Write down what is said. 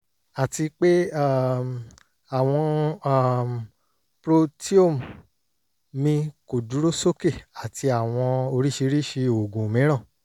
àti pé um àwọn um proteome mi kò dúró sókè àti àwọn oríṣiríṣi oògùn mìíràn